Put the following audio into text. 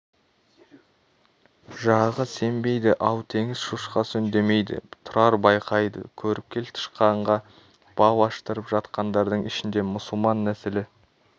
жағы сембейді ал теңіз шошқасы үндемейді тұрар байқайды көріпкел тышқанға бал аштырып жатқандардың ішінде мұсылман нәсілі